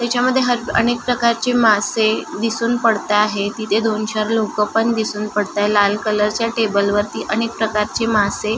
हेच्यामध्ये हर अनेक प्रकारचे मासे दिसून पडता आहे तिथे दोन चार लोक पण दिसून पडताय लाल कलर च्या टेबल वरती अनेक प्रकारचे मासे --